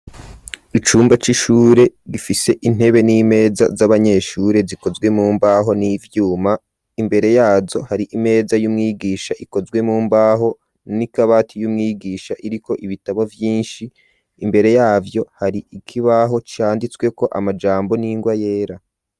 Icumba c'ishure gifise intebe n'imeza z'abanyeshure zikozwe mu mbaho n'ivyuma, imbere yazo hari imeza y'umwigisha ikozwe mu mbaho n'akabati k'umwigisha kariko ibitabo vyinshi imbere yavyo hari ikibaho cyanditsweko amajambo n'ingwa yera.